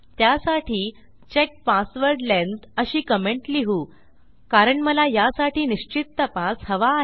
त्यासाठी check password length अशी comment लिहूकारण मला यासाठी निश्चित तपास हवा आहे